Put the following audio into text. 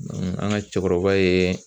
an ka cɛkɔrɔba ye